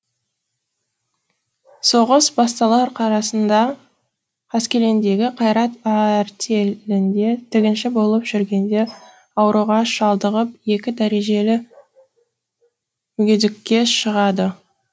соғыс басталар қарасында қаскелеңдегі қайрат артелінде тігінші болып жүргенде ауруға шалдығып екі дәрежелі мүгедекке шығады